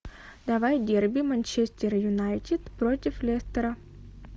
давай дерби манчестер юнайтед против лестера